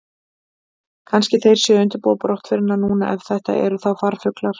Kannski þeir séu að undirbúa brottförina núna, ef þetta eru þá farfuglar.